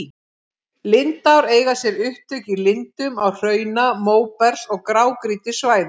Lindár eiga sér upptök í lindum á hrauna-, móbergs- og grágrýtissvæðum.